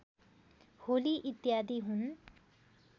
होली इत्यादि हुन्